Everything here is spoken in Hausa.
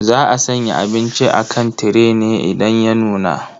Za a sanya abinci a kan tire ne idan ya nuna.